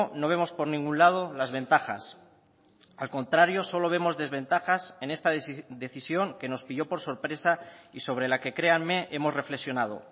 no vemos por ningún lado las ventajas al contrario solo vemos desventajas en esta decisión que nos pilló por sorpresa y sobre la que créanme hemos reflexionado